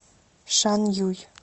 шанъюй